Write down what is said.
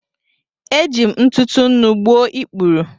Eji m ntụtụ nnu gbuo ikpuru.